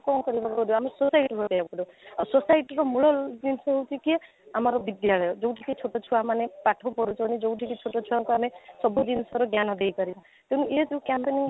କ'ଣ କରିବାକୁ ପଡିବ ଆମକୁ suicide କରିବାକୁ ପଡିବ ଆଉ suicide ର ମୂଳ ଜିନିଷ ହେଉଛି କି ଆମର ବିଦ୍ୟାଳୟ ଯଉଠି କି ଛୋଟ ଛୁଆମାନେ ପାଠ ପଢୁ ଛନ୍ତି ଯଉଠି କି ଛୋଟ ଛୁଆଙ୍କୁ ଆମେ ସବୁ ଜିନିଷର ଜ୍ଞାନ ଦେଇ ପାରିବା ତେଣୁ ୟେ ଯାଉ campaigning